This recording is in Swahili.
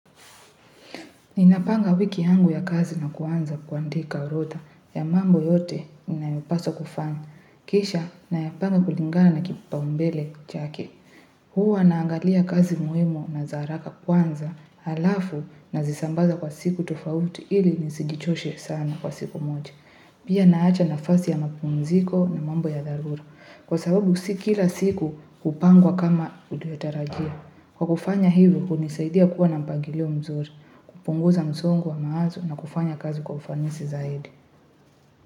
Ninapanga wiki yangu ya kazi na kuanza kuandika orodha ya mambo yote ninayopaswa kufanya. Kisha nayapanga kulingana na kipaumbele chake. Huwa naangalia kazi muhimu na za haraka kwanza alafu nazisambaza kwa siku tofauti ili nisijichoshe sana kwa siku moja. Pia naacha nafasi ya mapumziko na mambo ya dharura. Kwa sababu si kila siku hupangwa kama ulivyotarajia. Kwa kufanya hivyo, hunisaidia kuwa na mpangilio mzuri, kupunguza msongo wa mawazo na kufanya kazi kwa ufanisi zaidi.